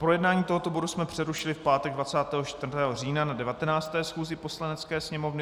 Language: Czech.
Projednávání tohoto bodu jsme přerušili v pátek 24. října na 19. schůzi Poslanecké sněmovny.